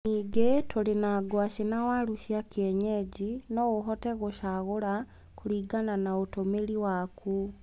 Ningĩ tũrĩ na ngwaci na waru cia kĩenyenji. No ũhote gũcagũra kũringana na ũtũmĩri waku.